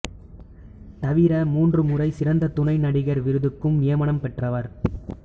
தவிர மூன்று முறை சிறந்த துணை நடிகர் விருதுக்கும் நியமனம் பெற்றவர்